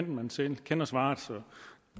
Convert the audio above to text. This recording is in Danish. man selv kender svaret så